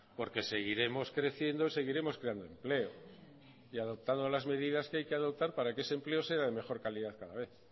porque seguiremos creciendo y seguiremos creando empleo y adoptando las medidas que hay que adoptar para que ese empleo sea de mejor calidad cada vez